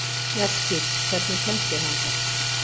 Mjallhvít, hvernig kemst ég þangað?